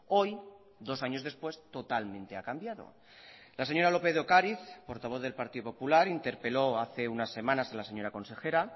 hoy dos años después totalmente ha cambiado la señora lópez de ocariz portavoz del partido popular interpeló hace unas semanas a la señora consejera